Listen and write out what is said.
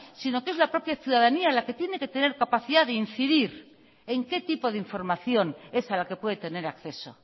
sino que es la propia ciudadanía la que tiene que tener capacidad de incidir en qué tipo de información es a la que puede tener acceso